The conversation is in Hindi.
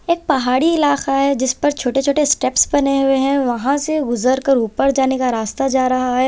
एक पहाड़ी इलाका है जिस पर छोटे छोटे स्टेप्स बने हुए हैं वहां से गुजरकर ऊपर जाने का रास्ता जा रहा है।